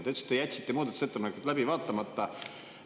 Sa ütlesid, et te jätsite muudatusettepanekud läbi vaatamata.